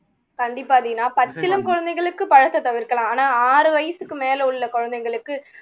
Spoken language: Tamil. கண்டிப்பா தீனா பச்சிளம் குழந்தைகளுக்கு பழத்தை தவிர்க்கலாம் ஆனா ஆறு வயசுக்கு மேல உள்ள குழந்தைங்களுக்கு